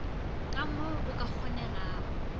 ka mo go ka kgonegago